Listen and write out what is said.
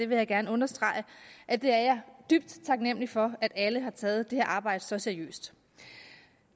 vil gerne understrege at jeg er dybt taknemlig for at alle har taget det her arbejde så seriøst